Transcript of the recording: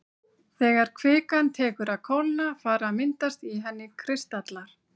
Þegar kvikan tekur að kólna fara að myndast í henni kristallar.